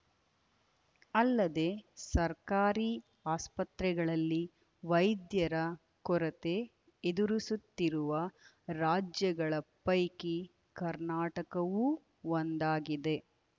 ಅಲ್ಲದೆ ಸರ್ಕಾರಿ ಆಸ್ಪತ್ರೆಗಳಲ್ಲಿ ವೈದ್ಯರ ಕೊರತೆ ಎದುರಿಸುತ್ತಿರುವ ರಾಜ್ಯಗಳ ಪೈಕಿ ಕರ್ನಾಟಕವೂ ಒಂದಾಗಿದೆ